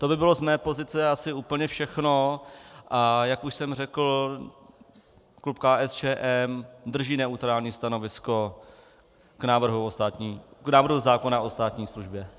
To by bylo z mé pozice asi úplně všechno, a jak už jsem řekl, klub KSČM drží neutrální stanovisko k návrhu zákona o státní službě.